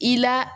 I la